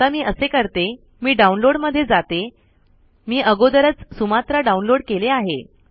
आता मी असे करते मी डाउनलोड मध्ये जाते मी अगोदेरच सुमात्रा डाउनलोड केले आहे